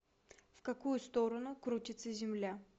в какую сторону крутится земля